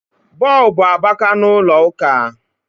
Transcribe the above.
Bulbu abaka n ulọ ụka